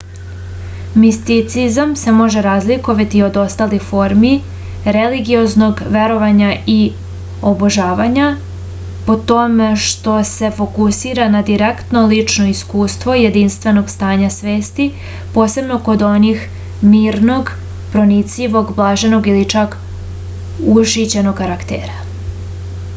misticizam se može razlikovati od ostalih formi religioznog verovanja i obožavanja po tome što se fokusira na direktno lično iskustvo jedinstvenog stanja svesti posebno kod onih mirnog pronicljivog blaženog ili čak ušićenog karaktera